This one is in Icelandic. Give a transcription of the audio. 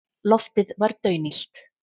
Loftið var daunillt.